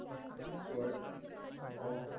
swart of